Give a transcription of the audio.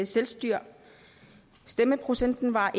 selvstyre stemmeprocenten var